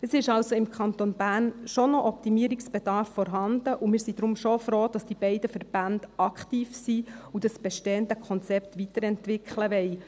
Es ist also im Kanton Bern schon noch Optimierungsbedarf vorhanden, und wir sind deshalb schon froh, dass die beiden Verbände aktiv sind und das bestehende Konzept weiterentwickeln wollen.